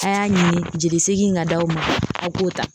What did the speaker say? A' y'a ɲini jeli seegin ka d' aw ma aw k'o ta.